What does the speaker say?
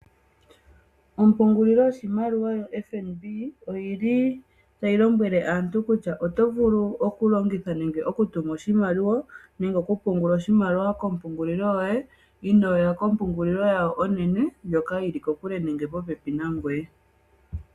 Ompungulilo yoshimaliwa yoFNB, oyi li tayi lombwele aantu kutya oto vulu okulongitha nenge okutuma oshimaliwa nenge okupungula oshimaliwa kompungulilo yoye, inoo ya kompungulilo yawo onene ndjoka yi li kokule nenge popepi nangoye.